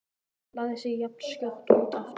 Lagði sig jafnskjótt út af aftur.